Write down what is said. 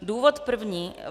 Důvod první.